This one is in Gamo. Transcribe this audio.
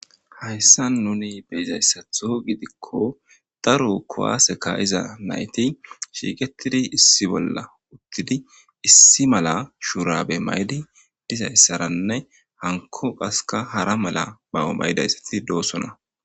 Haysan nuni bey'izaysato gidiko daro kuwase ka'iza nayti shiiqetidi issi bola utidi issi mala shurabe maydi dizaysaranne hanko qaska hara mala mawo maydaysati dosona.